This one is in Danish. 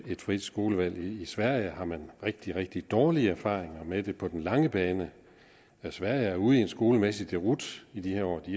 frit skolevalg i sverige har man rigtig rigtig dårlige erfaringer med det på den lange bane sverige er ude i en skolemæssig deroute i de her år de